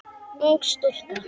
Ung stúlka.